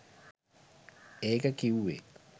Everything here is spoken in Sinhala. ඒක කිවුවෙ